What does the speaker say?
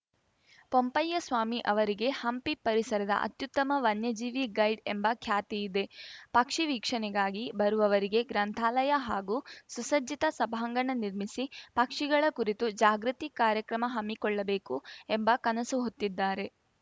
ಪೊಂಪಯ್ಯಸ್ವಾಮಿ ಅವರಿಗೆ ಹಂಪಿ ಪರಿಸರದ ಅತ್ಯುತ್ತಮ ವನ್ಯಜೀವಿ ಗೈಡ್‌ ಎಂಬ ಖ್ಯಾತಿ ಇದೆ ಪಕ್ಷಿ ವೀಕ್ಷಣೆಗಾಗಿ ಬರುವವರಿಗೆ ಗ್ರಂಥಾಲಯ ಹಾಗೂ ಸುಸಜ್ಜಿತ ಸಭಾಂಗಣ ನಿರ್ಮಿಸಿ ಪಕ್ಷಿಗಳ ಕುರಿತು ಜಾಗೃತಿ ಕಾರ್ಯಕ್ರಮ ಹಮ್ಮಿಕೊಳ್ಳಬೇಕು ಎಂಬ ಕನಸು ಹೊತ್ತಿದ್ದಾರೆ